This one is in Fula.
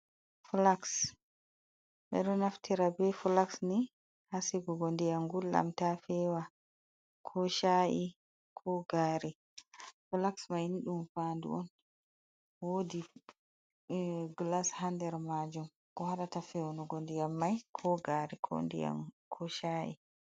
Flaxs ɓe ɗo naftira ɓe flax hasigo ɗiyam gulɗam ta fewa ko sha’i ko gari, flax mai ni ɗum fadu on wodi glass hander majum ko haɗata fewnu ɗiyam ko gari ko nɗiyam ko sha’i.